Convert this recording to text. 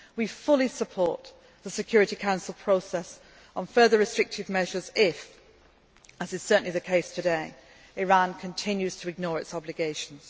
solutions. We fully support the Security Council process on further restrictive measures if as is certainly the case today Iran continues to ignore its obligations.